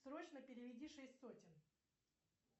срочно переведи шесть сотен